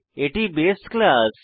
এটি বাসে ক্লাস